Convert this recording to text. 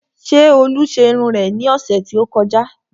Ṣé olú ṣe irun rẹ ní ọ̀sẹ̀ tí ó kọjá?